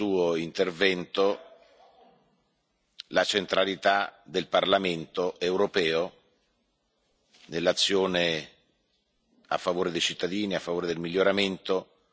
la centralità del Parlamento europeo nell'azione a favore dei cittadini, a favore del miglioramento della nostra Unione.